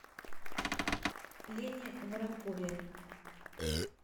лене воронкове